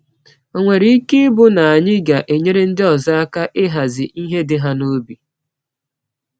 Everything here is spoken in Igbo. Ọ̀ nwere ike ịbụ na anyị ga-enyere ndị ọzọ aka ịhazi ihe dị ha n’obi?